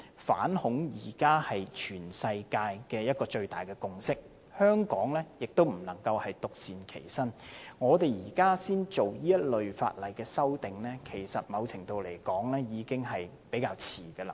反恐現在是全世界一個最大的共識，香港不能獨善其身，我們現在才進行這類法例修訂，某程度來說，已經是比較遲。